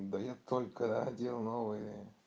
да я только одел новые